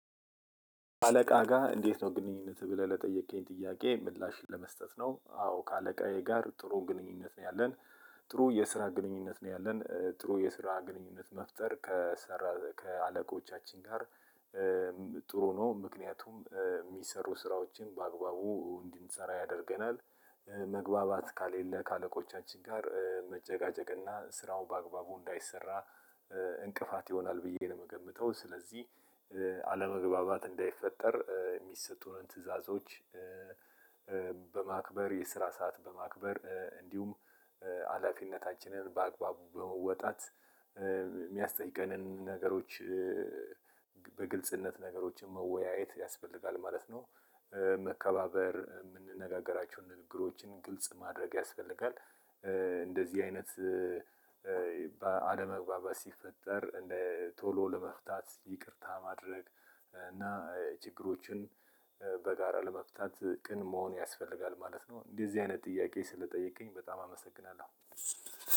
አለቃህ ጋር እንዴት ነው ግንኙነትህ? ብለህ ለጠየከኝ ጥያቄ ምላሽን ለመስጠት ነው አዎ ከአለቃዬ ጋር ጥሩ ግንኙነት ነው ያለን። ጥሩ የስራ ግንኙነት ነው ያለን ጥሩ የስራ ግንኙነት መፍጠር ከአለቆቻችን ጋር ጥሩ ነው ምክንያቱም የሚሰሩ ስራዎችን በአግባቡ እንድንሰራ ያደርገናል። መግባባት፤ ከሌለ ከአለቆቻችን ጋር መጨጋጨቅና ስራው በአግባቡ እንዳይሰራ እንቅፋት ይሆናል ብዬ ነው የምገምተው። ስለዚህ አለመግባባት እንዳይፈጠር የሚሰጡንን ትዕዛዞች በማክበር፤ የስራ ሰዓት በማክበር እንዲሁም ሀላፊነታችንን በአግባቡ በመወጣት፤ የሚያስጠይቀንን ነገሮች በግልጽነት ነገሮችን መወያየት ያስፈልጋል ማለት ነው። መከባበር፤ የምንነጋገራቸው ንግግሮችን ግልጽ ማድረግ ያስፈልጋል። እንደዚህ አይነት አለመግባባት ሲፈጠር እንደ ቶሎ ለመፍታት ይቅርታ ማድረግ እና ችግሮችን በጋራ ለመፍታት ቅን መሆን ያስፈልጋል ማለት ነው። እንደዚህ አይነት ጥያቄ ስለጠየከኝ በጣም አመሰግናለሁ።